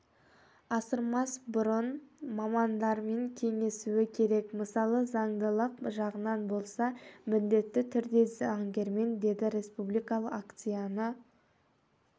асырмас бұрын мамандармен кеңесуі керек мысалы заңдылық жағынан болса міндетті түрде заңгермен деді республикалық акцияны